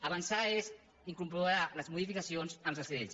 avançar és incorporar les modificacions en les lleis